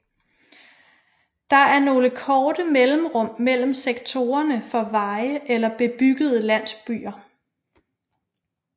Der er nogle korte mellemrum mellem sektorerne for veje eller bebyggede landsbyer